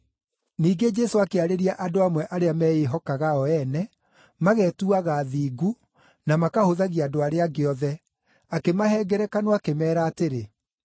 Ningĩ Jesũ akĩarĩria andũ amwe arĩa meĩhokaga o ene, magetuaga athingu na makahũthagia andũ arĩa angĩ othe, akĩmahe ngerekano, akĩmeera atĩrĩ: